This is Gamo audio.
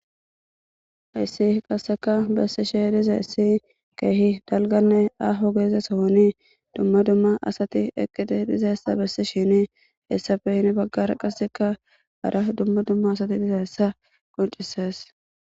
hyssi qasseka bessishe dizays issi keehi dalganne aho geeze sohoni dumma dumma asati eqqiti dizeessa bessi shini hessafehin baggara qasseka gara dumma dumma asati diza hessa qoncises